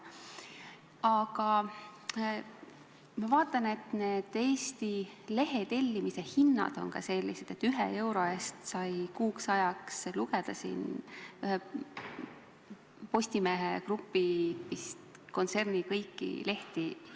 Aga ma vaatan, et Eesti lehetellimishinnad on sellised, et ühe euro eest sai hiljuti kuu aega lugeda Postimehe kontserni kõiki lehti.